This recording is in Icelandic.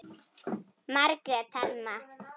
Margrét Thelma.